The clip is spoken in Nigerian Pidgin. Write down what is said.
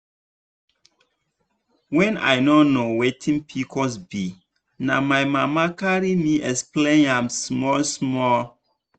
when i no know wetin pcos be na my mama carry me explain am small small.